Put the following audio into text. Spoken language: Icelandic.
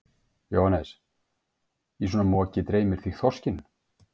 Jóhannes: Í svona moki dreymir þig þorskinn?